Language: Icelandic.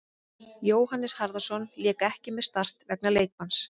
Jóhannes Harðarson lék ekki með Start vegna leikbanns.